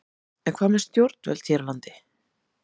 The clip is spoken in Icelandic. En hvað með stjórnvöld hér á landi?